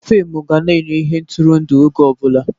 Fịmụ ga na-enye ihe ntụrụndụ oge ọ bụla.